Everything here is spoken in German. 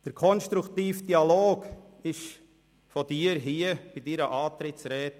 Den konstruktiven Dialog erwähnten Sie bei Ihrer Antrittsrede.